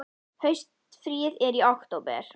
Haustfríið er í október.